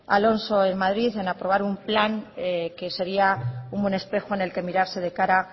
alonso en madrid en aprobar un plan que sería un buen espejo en el que mirarse de cara